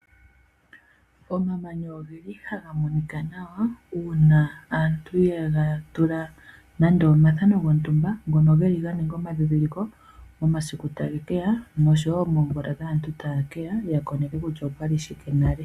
Omamanya ogeli haga monika nawa uuna aantu yegatula nando omathano gontumba ngono geli ganinga omadhidhiliko momasiku tagekeya noshowo moovula dhaantu tayekeya yakoneke kutya opwali shikenale.